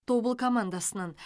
тобыл командасынан